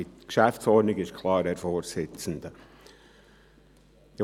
Die Geschäftsordnung des Grossen Rates (GO) ist klar, Herr Vorsitzender.